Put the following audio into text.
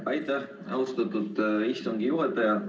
Aitäh, austatud istungi juhataja!